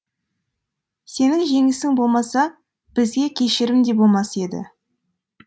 сенің жеңісің болмаса бізге кешірім де болмас еді